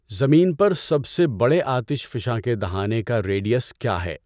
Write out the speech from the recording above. زمین پر سب سے بڑے آتش فشاں کے دہانے کا ریڈئیس کیا ہے۔